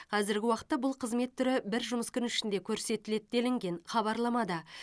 қазіргі уақытта бұл қызмет түрі бір жұмыс күні ішінде көрсетіледі делінген хабарламада